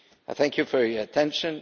Thank you for your attention.